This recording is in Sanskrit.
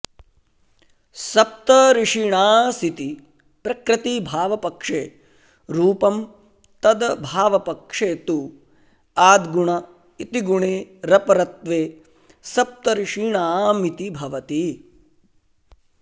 सप्तऋषीणासिति प्रकृतिभावपक्षे रूपं तदभावपक्षे तु आद्गुण इति गुणे रपरत्वे सप्तर्षीणामिति भवति